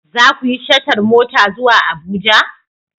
Za ku yi shatar mota zuwa Abuja?